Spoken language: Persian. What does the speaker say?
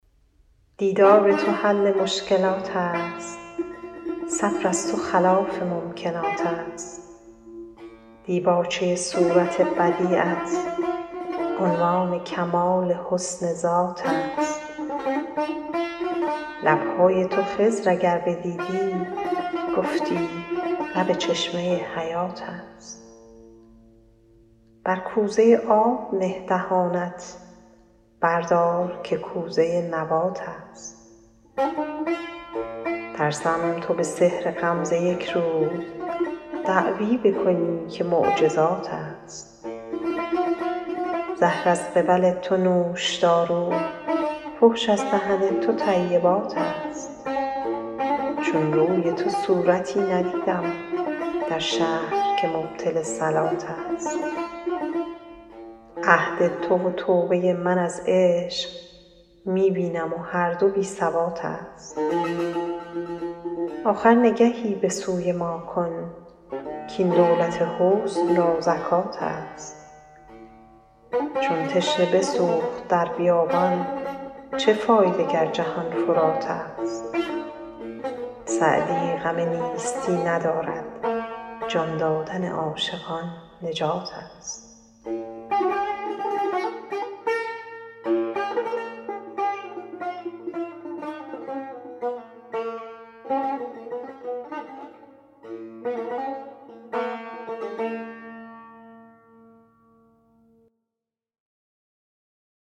دیدار تو حل مشکلات است صبر از تو خلاف ممکنات است دیباچه صورت بدیعت عنوان کمال حسن ذات است لب های تو خضر اگر بدیدی گفتی لب چشمه حیات است بر کوزه آب نه دهانت بردار که کوزه نبات است ترسم تو به سحر غمزه یک روز دعوی بکنی که معجزات است زهر از قبل تو نوشدارو فحش از دهن تو طیبات است چون روی تو صورتی ندیدم در شهر که مبطل صلات است عهد تو و توبه من از عشق می بینم و هر دو بی ثبات است آخر نگهی به سوی ما کن کاین دولت حسن را زکات است چون تشنه بسوخت در بیابان چه فایده گر جهان فرات است سعدی غم نیستی ندارد جان دادن عاشقان نجات است